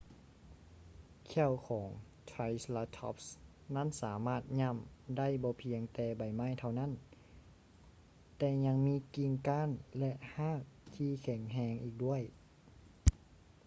ແຂ້ວຂອງ triceratops ນັ້ນສາມາດຫຍໍ້າໄດ້ບໍ່ພຽງແຕ່ໃບໄມ້ເທົ່ານັ້ນ ແຕ່ຍັງມີກິ່ງກ້ານ ແລະ ຮາກທີ່ແຂງແຮງອີກດ້ວຍ